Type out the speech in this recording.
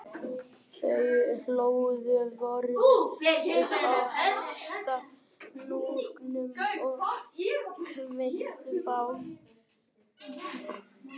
Þau hlóðu vörðu upp á hæsta hnúknum og kveiktu bál